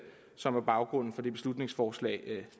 som er baggrunden for det beslutningsforslag